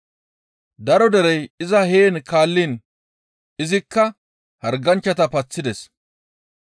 Daro derey iza heen kaalliin izikka harganchchata paththides.